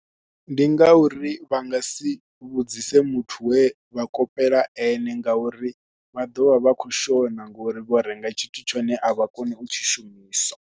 Ndi ngauri vha nga si vhudzise muthu we vha kopela ene ngauri vha ḓo vha vha khou shona ngori vho renga tshithu tshone a vha kone u tshi shumisa.